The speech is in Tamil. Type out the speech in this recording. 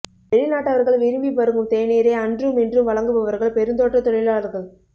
வெளிநாட்டவர்கள் விரும்பி பருகும் தேனீரை அன்றும் இன்றும் வழங்குபவர்கள் பெருந்தோட்ட தொழிலாளர்கள்